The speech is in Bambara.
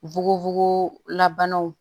Fukofoko la banaw